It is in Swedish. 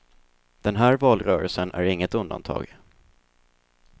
Den här valrörelsen är inget undantag.